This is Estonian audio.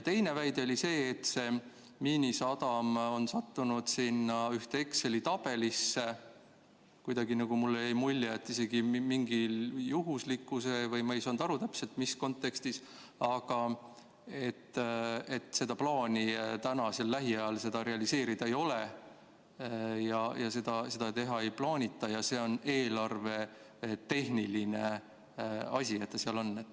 Teine väide oli see, et Miinisadam on sattunud sinna ühte Exceli tabelisse, mulle jäi mulje, isegi mingi juhuslikkuse tõttu või ma ei saanud täpselt aru, mis kontekstis, aga plaani lähiajal seda realiseerida ei ole ja seda teha ei plaanita ning see on eelarvetehniline asi, et ta seal on.